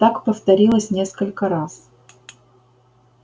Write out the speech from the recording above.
так повторилось несколько раз